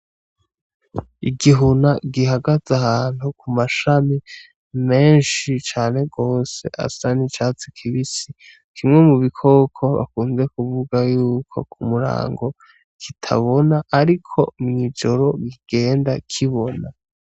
Igihuna gihagaze ahantu mu mashami menshi cane gose asa n'icatsi kibisi, kimwe mu bikoko bakunze kuvuga y'uko ku murango kitabona ariko mw'ijoro kigenda kibona.